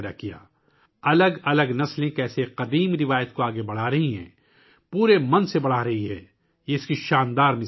یہ ایک شاندار مثال ہے کہ کس طرح مختلف نسلیں ایک قدیم روایت کو پوری لگن کے ساتھ آگے بڑھا رہی ہیں